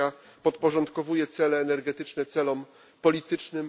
Rosja podporządkowuje cele energetyczne celom politycznym.